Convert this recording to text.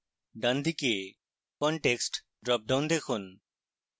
ডান দিকে context dropdown দেখুন